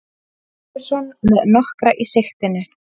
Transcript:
Ferguson með nokkra í sigtinu